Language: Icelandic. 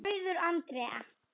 Auður Andrea.